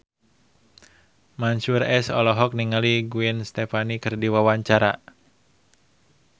Mansyur S olohok ningali Gwen Stefani keur diwawancara